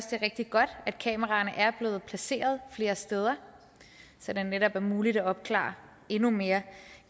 det er rigtig godt at kameraerne er blevet placeret flere steder så det netop er muligt at opklare endnu mere